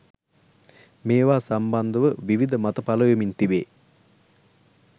මේවා සම්බන්ධව විවිධ මත පළවෙමින් තිබේ